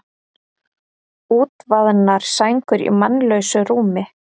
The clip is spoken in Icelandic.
Útvaðnar sængur í mannlausu rúmi.